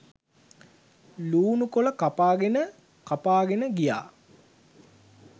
ලූණු කොළ කපාගෙන කපාගෙන ගියා.